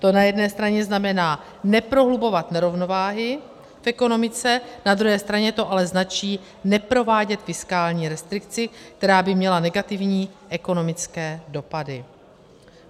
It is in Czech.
To na jedné straně znamená neprohlubovat nerovnováhy v ekonomice, na druhé straně to ale značí neprovádět fiskální restrikci, která by měla negativní ekonomické dopady.